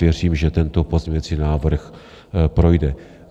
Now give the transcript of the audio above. Věřím, že tento pozměňovací návrh projde.